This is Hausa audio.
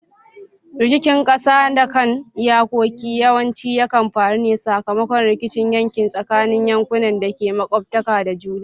Rikicin kasa da kan iyakoki yawanci yakan faru ne sakamakon rikicin yanki tsakanin yankunan da ke makwabtaka da juna.